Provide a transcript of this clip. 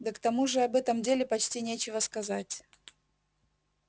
да к тому же об этом деле почти нечего сказать